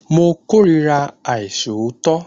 Mo kórira àìṣòótọ́